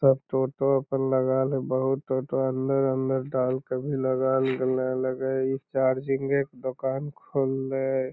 तब टोटो पर लगल हय बहुत टोटो हॉलय-हॉलय डाल कअ भी लगल गलय लगै है इ चार्जिंगे क दोकान खोल्लय।